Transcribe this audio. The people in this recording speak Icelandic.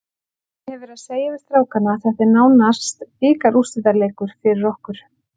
Ég hef verið að segja við strákana að þetta er nánast bikarúrslitaleikur fyrir okkur.